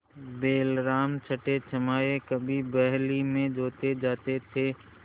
बैलराम छठेछमाहे कभी बहली में जोते जाते थे